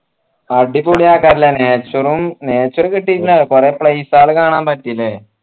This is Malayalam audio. അടിപൊളി ആക്കാ അല്ലെ nature ഉം nature കിട്ടീട്ടിണ്ടാവും കൊറേ place കൾ കാണാൻ പറ്റിയല്ലേ